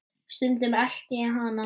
Stundum elti ég hana.